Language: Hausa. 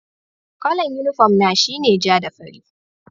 Kalla'n uniform na shine ja da farri.